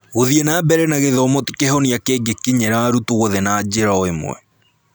Gũthiĩ na mbere na gĩthomo ti kĩhonia kĩngĩkinyĩra arutwo othe na njĩra o ĩmwe.